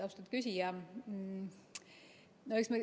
Austatud küsija!